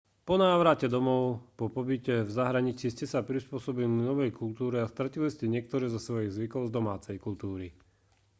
po návrate domov po pobyte v zahraničí ste sa prispôsobili novej kultúre a stratili ste niektoré zo svojich zvykov z domácej kultúry